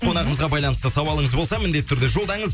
қонағымызға байланысты сауалыңыз болса міндетті түрде жолдаңыз